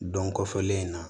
Dɔn kɔfɛlen in na